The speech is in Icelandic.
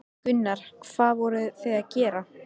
Gunnar: Hvað voruð þið að gera?